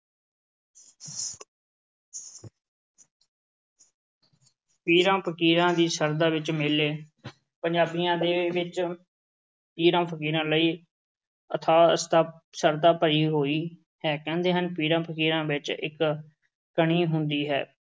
ਪੀਰਾਂ-ਫ਼ਕੀਰਾਂ ਦੀ ਸ਼ਰਧਾ ਵਿੱਚ ਮੇਲੇ ਪੰਜਾਬੀਆਂ ਦੇ ਵਿੱਚ ਪੀਰਾ-ਫ਼ਕੀਰਾਂ ਲਈ ਅਥਾਹ ਸ਼ਰਧਾ ਭਰੀ ਹੋਈ ਹੈ। ਕਹਿੰਦੇ ਹਨ ਪੀਰਾ-ਫ਼ਕੀਰਾਂ ਵਿੱਚ ਇੱਕ ਤਣੀ ਹੁੰਦੀ ਹੈ।